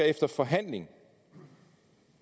efter forhandling